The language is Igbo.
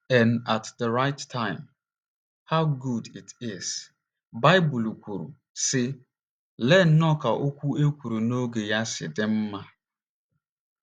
n at the right time — how good it is! ” Baịbụl kwuru, sị: ‘ Lee nnọọ ka okwu e kwuru n’oge ya si dị mma! ’